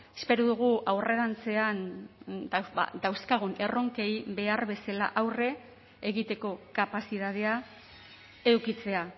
espero dugu aurrerantzean dauzkagun erronkei behar bezala aurre egiteko kapazitatea edukitzea